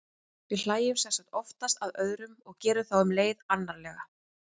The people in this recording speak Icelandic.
við hlæjum sem sagt oftast að öðrum og gerum þá um leið annarlega